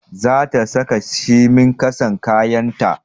Za ta saka shimi ƙasan kayan ta